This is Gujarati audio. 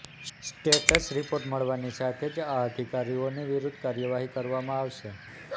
સ્ટેટસ રિપોર્ટ મળવાની સાથે જ આ અધિકારીઓની વિરૂધ્ધ કાર્યવાહી કરવામાં આવશે